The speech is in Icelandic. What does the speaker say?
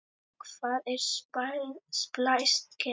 Hvað er splæst gen?